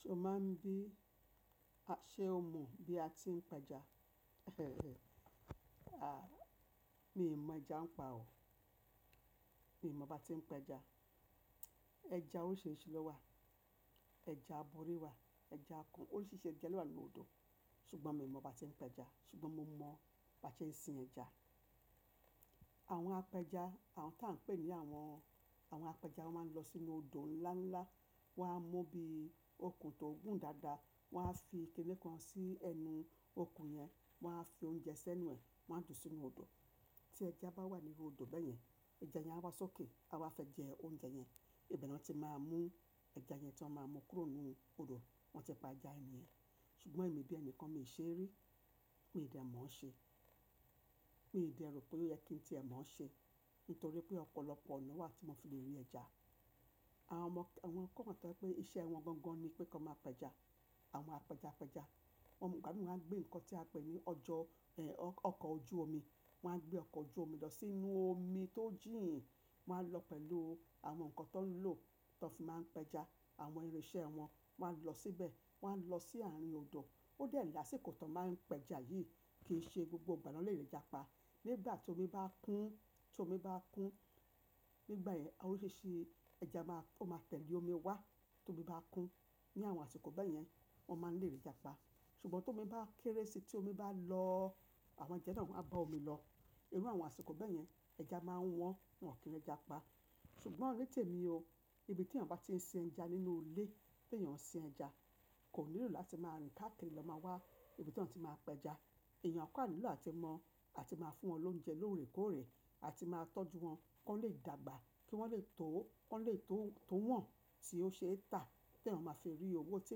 Ṣe o maa n bí a ṣe ọ mo bí a ti ń pẹja? A, mi i mọ ẹja ń pa o. Mi mọ ba ti ń pẹja. Ẹja oríṣìíríṣìí ló wà. Ẹja aborí wà, ẹja kan oríṣìíríṣìí ẹja ló wà nínú odò. Ṣùgbọ́n mi mọ ba ti ń pẹja, ṣùgbọ́n mo mọ ba ṣe ń sin ẹja. Àwọn apẹja, àwọn ta ń pè ní àwọn, àwọn apẹja máa ń lọ sínú odò ńlá ńlá, wọ́n á mu bí okùn tó gùn dáadáa, wọ́n á fi i kinìkan sí ẹnu okùn yẹn, wọ́n á fi oúnjẹ sẹ́nu ẹ, wọ́n á jù sínú odò. Tí ẹja bá wà nínú odò bẹ́yẹn, ẹja yẹn á wá sókè, á wá fẹ́ jẹ oúnjẹ yẹn. Ìbẹ̀ náà ti máa mú ẹja yẹn tọ́ n máa mú kúrò nínú odò, wọ́n ti pa ẹja yen nìyen. Ṣùgbọ́n èmi bí ẹnìkan mi ṣe rí, mi de mọ̀ ọ́n ṣe. Mi dè rò pé ó yẹ kí n tí ẹ mọ̀ ọ́n ṣe. Ntorí pé ọ̀pọ̀lọpọ̀ ọ̀nà wà tí mo fi le rí ẹja. Àwọn ọmọ, àwọn kan wa tá yo pé iṣẹ́ wọn gangan ni pé ko n máa pẹja. Àwọn apẹja pẹja. Wọn mu igbàmí wọ́n á gbé nǹkan tí a pè ní ọjọ́, eh o ọkọ̀ ojú omi. Wọ́n á gbé ọkọ̀ ojú omi lọ sínú omi tó jìǹn. Wọ́n á lọ pẹ̀lú àwọn nǹkan tó ń lò tó fi máa ń pẹja, àwọn irinṣẹ́ wọn. Wọ́n á lọ síbẹ̀, wọ́n á lọ sí àárín odò. Ó dẹ̀ la àsìkò tó máa ń pẹja yìí kí i ṣe gbogbo gbà lọ lè rí ẹja pa. Nígbà tomi bá kún, tomi bá kún, nígbà yẹn oríṣìí ẹja máa, ó máa tẹ̀lé omi wá tó omi bá kún. Ní àwọn àsìkò bẹ́yẹn, wọn máa n lè ríja pa. Ṣùgbọ́n tomi bá kéré síi, tí omi bá lọọ́, àwọn ẹja náà won bá omi lọ. Irú àwọn àsìkò bẹ́yẹn, ẹja máa n wọ́n, wọn kí í rí ẹja pa. Ṣùgbọ́n rí tèmi o, ibi tí èeyàn bá ti ń sin ẹja nínú ilé tèyàn ń sin ẹja, kò nílò láti máa rìn ká kiri lọ máa wá ibi tọ́ n ti máa pẹja. Èeyàn akó nílò àti mọ àti máa fún wọn lóunjẹ lóòrèkóòrè, àti máa tọ́jú wọn kọ́ n lè dàgbà kí wọ́n lè tó, ko n lè tó tó wọ́n tí ó ṣe é tà tèyàn máa fi rí owó tí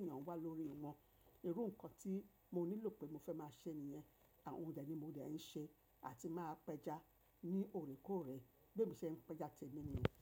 èeyàn wá lórí wọn. Irú nǹkan tí mo nílò pé mo fẹ́ máa ṣe nìyẹn. Àwọn oúnjẹ ni mo dè ń ṣe àti máa pẹja ní òrèkóòrè. Àwọn ọmọ, àwọn kan wa tá yo pé iṣẹ́ wọn gangan ni pé ko n máa pẹja.